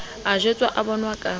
a jwetswa o bonwa ka